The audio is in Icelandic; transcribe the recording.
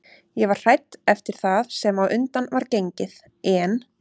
Ég var hrædd eftir það sem á undan var gengið en